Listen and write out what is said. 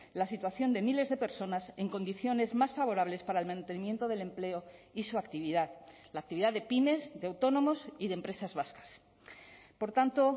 la situación de miles de personas en condiciones más favorables para el mantenimiento del empleo y su actividad la actividad de pymes de autónomos y de empresas vascas por tanto